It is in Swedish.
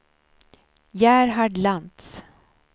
Gerhard Lantz